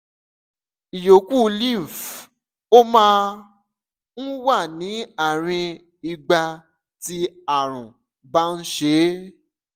ìyókù lymph - ó máa ń wà ní àárín ìgbà tí àrùn bá ń ṣe é